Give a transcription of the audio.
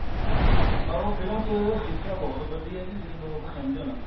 ਪਰ ਉਹ film ਚ ਸਿੱਖਿਆ ਬਹੁਤ ਵੱਡੀ ਆ ਜੀ ਜੇ ਲੋਕ ਸਮਝਣ